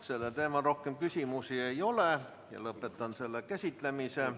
Sellel teemal rohkem küsimusi ei ole, lõpetan selle käsitlemise.